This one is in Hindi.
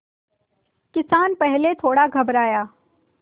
किसान पहले थोड़ा घबराया